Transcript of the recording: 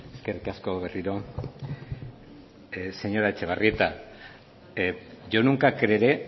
eskerrik asko berriro señora etxebarrieta yo nunca creeré